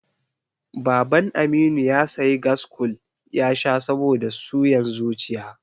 Baban Aminu ya sayi gaskool ya sha saboda suyan zuciya.